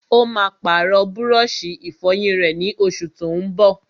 Ó máa pàrọ̀ búrọ́sì-ìfọyín rẹ̀, ní oṣù tó n bọ̀.